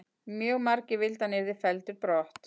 Mjög margir vildu að hann yrði felldur brott.